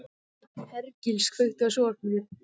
Hergils, kveiktu á sjónvarpinu.